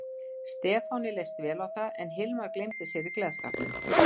Stefáni leist vel á það en Hilmar gleymdi sér í gleðskapnum.